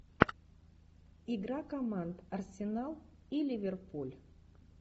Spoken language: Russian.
игра команд арсенал и ливерпуль